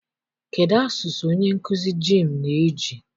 Kedụ asụsụ onye nkụzi jiimụ na-eji?